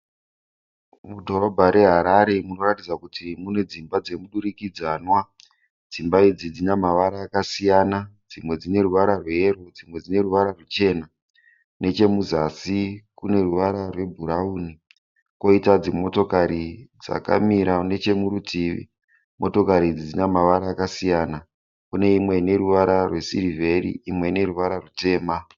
Mudhorobha reHarare munoratidza kuti munedzimba dzemudurikidzanwa. Dzimba idzi dzinamavara akasiyana, dzimwe dzineruvara rweyero dzimwe dzineruvara rwuchena, nechemuzasi kune ruvara rwebhurauni. Koita dzimotokari dzakamira nechemurutivi. Motokari idzi dzinamavara akasiyana, kuneimwe ineruvara rwesirivheri imwe ineruvara rwutema.